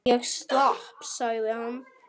Ég slapp sagði hann.